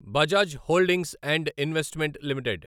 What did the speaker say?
Bajaj holdings and investment limited